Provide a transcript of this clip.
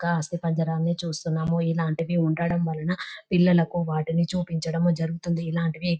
ఒక ఆస్తి పందిరాన్ని చూస్తున్నాము. ఇలాంటివి ఉండడం వలన పిల్లలకు వాటిని చూపించడం జరుగుతుంది ఇలాంటివి --